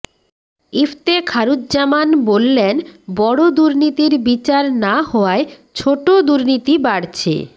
ইফতেখারুজ্জামান বললেন বড় দুর্নীতির বিচার না হওয়ায় ছোট দুর্নীতি বাড়ছে